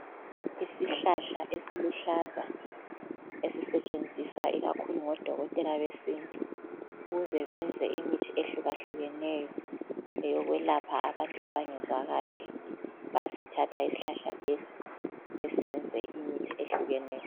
Isihlahla esiluhlaza esisetshenziswa ikakhulu ngodokotela be sintu ukuze benze imithi ehluka hlukeneyo eyokwelapha abantu abangezwa kahle, bayasithatha isihlahla lesi besenze imithi ehluka hlukeneyo.